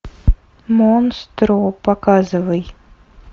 монстро показывай